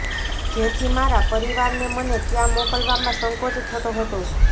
જેથી મારા પરિવારને મને ત્યાં મોકલવામાં સંકોચ થતો હતો